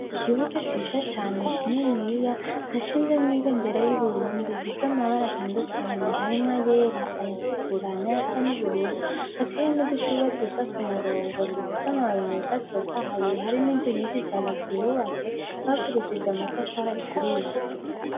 Ikibuga ciza cane kininiya hashinzemwo ibendera y'Uburundi ifisemwo amabara atandukanye harimwo ayera ayatukura nayasa n'ubururu, hateye n'udushurwe twiza ku murongo dufise amababi meza atotahaye, hari n'inzu nyinshi cane zihubatse bakoresheje amatafari aturiye.